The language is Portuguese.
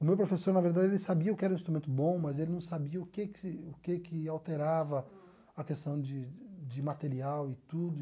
O meu professor, na verdade, ele sabia o que era um instrumento bom, mas ele não sabia o que que o que que alterava a questão de de material e tudo.